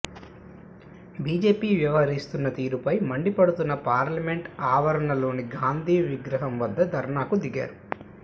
BJP వ్యవహరిస్తున్న తీరుపై మండిపడుతూ పార్లమెంట్ ఆవరణలోని గాంధీ విగ్రహం వద్ద ధర్నాకు దిగారు